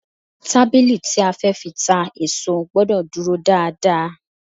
Tábìlì tí a fẹ́ fi ta èso gbọ́dọ̀ dúró dáa dáa.